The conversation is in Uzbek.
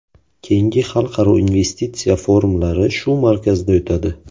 Keyingi xalqaro investitsiya forumlari shu markazda o‘tadi.